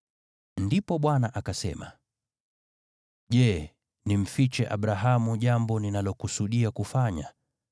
Ndipo Bwana akasema, “Je, nimfiche Abrahamu jambo ninalokusudia kufanya?